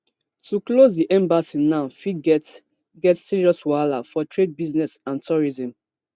to close di embassy now fit get get serious wahala for trade business and tourism